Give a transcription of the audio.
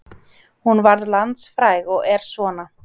Hún varð landsfræg og er svona